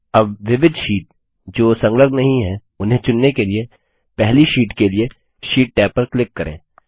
अब विविध शीट जो संलग्न नहीं है उन्हें चुनने के लिए पहली शीट के लिए शीट टैब पर क्लिक करें